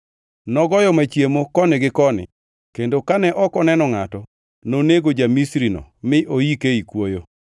Nogoyo machiemo koni gi koni, kendo kane ok oneno ngʼato, nonego ja-Misrino mi oike ei kuoyo.